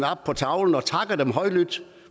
op på tavlen og takker dem højlydt